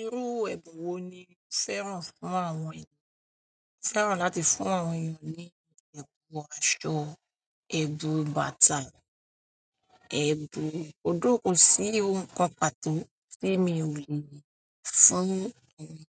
Irú ẹbùn wo ni o fẹ́ràn fún àwọn ènìyàn fẹ́ràn láti fún àwọn ènìyàn ní ẹ̀bùn aṣọ, ẹ̀bùn bàtà, ẹ̀bùn òdókó, ko sì ohun kan pàtó tí èmi ò lè fún ẹni.